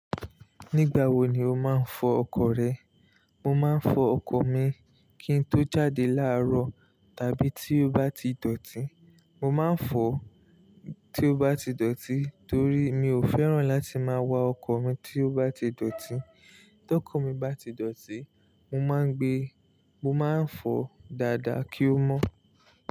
Nígbà wo ni o máa ń fọ ọkọ̀ rẹ? Mo máa ń fọ ọkọ̀ mi kí n tó jáde láàárọ̀ tàbí tí ó bá ti dọ̀tí. Mo máa ń fọ tí ó bá ti dọ̀tí torí mi ò fẹ́ràn láti máa wa ọkọ̀ mi tí ó bá ti dọ̀tí. Tọkọ mi bá ti dọ̀tí, mo máa ń gbe, mo máa ń fọ dáadáa kí ó mọ́.